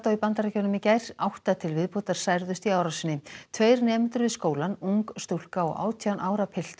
í Bandaríkjunum í gær átta til viðbótar særðust í árásinni tveir nemendur við skólann ung stúlka og átján ára piltur